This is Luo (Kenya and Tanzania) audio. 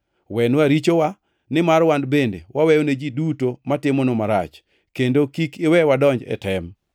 Wenwa richowa, nimar wan bende waweyone ji duto matimonwa marach. Kendo kik iwe wadonj e tem.’ ”